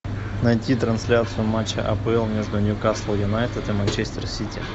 найти трансляцию матча апл между ньюкасл юнайтед и манчестер сити